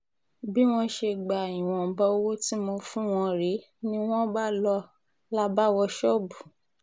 bí wọ́n ṣe gba ìwọ̀nba owó tí mo fún wọn rèé ni wọ́n bá lọ là bá wọ ṣọ́ọ̀bù